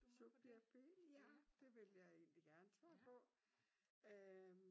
Subjekt B ja det vil jeg egentlig gerne svare på øh